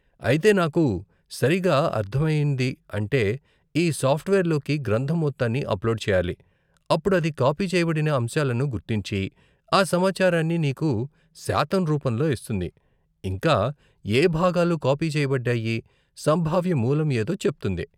అయితే, నాకు సరిగా అర్ధమయింది అంటే, ఈ సాఫ్ట్వేర్లోకి గ్రంధం మొత్తాన్ని అప్లోడ్ చెయ్యాలి, అప్పుడు అది కాపీ చేయబడిన అంశాలను గుర్తించి, ఆ సమాచారాన్ని నీకు శాతం రూపంలో ఇస్తుంది, ఇంకా ఏ భాగాలు కాపీ చేయబడ్డాయి, సంభావ్య మూలం ఏదో చెప్తుంది.